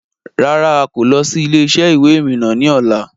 Rárá Áà kò lọ̀ síí ilé-isẹ́ ìwé ìrìnà ni ọ̀la.